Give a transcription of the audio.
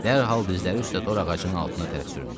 Dərhal dizləri üstə tor ağacının altına tərəf süründü.